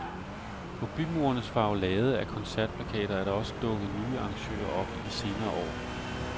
På bymurenes farvelade af koncertplakater er der også dukket nye arrangører op i de senere år.